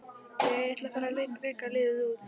Jæja, ég ætla að fara að reka liðið út.